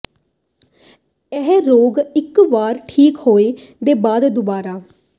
ਇਹ ਰੋਗ ਇੱਕ ਵਾਰ ਠੀਕ ਹੋਣ ਦੇ ਬਾਅਦ ਦੁਬਾਰਾ